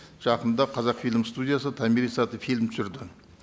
жақында қазақфильм студиясы томирис атты фильм түсірді